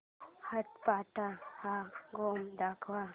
आट्यापाट्या हा गेम दाखव